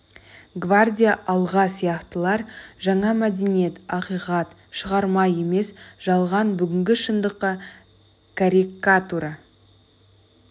гвардия алға сияқтылар жаңа мәдениет ақиқат шығарма емес жалған бүгінгі шындыққа каррикатура